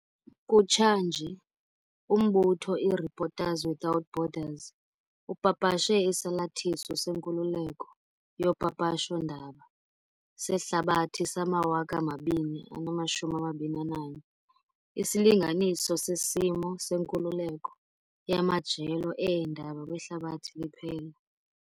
Kutshanje, umbutho i-Reporters without Borders upapashe Isalathiso seNkululeko yoPapasho ndaba seHlabathi sama-2021, isilinganiso sesimo senkululeko yamajelo eendaba kwihlabathi liphela.